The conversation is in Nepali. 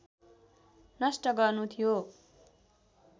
नष्ट गर्नु थियो